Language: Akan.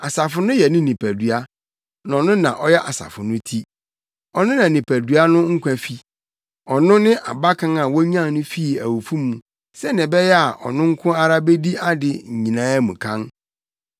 Asafo no yɛ ne nipadua, na ɔno na ɔyɛ asafo no ti. Ɔno na nipadua no nkwa fi. Ɔno ne Abakan a wonyan no fii awufo mu sɛnea ɛbɛyɛ a ɔno nko ara bedi ade nyinaa mu kan.